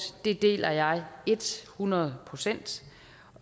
deler jeg et hundrede procent